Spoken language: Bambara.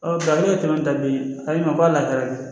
nka kɛmɛ da bi a yi ma fɔ a la hɛrɛ de